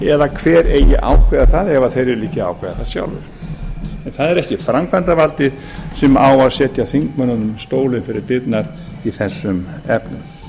eða hver eigi að ákveða það ef þeir vilja ekki ákveða það sjálfir en það er ekki framkvæmdarvaldið sem á að setja þingmönnunum stólinn fyrir dyrnar í þessum efnum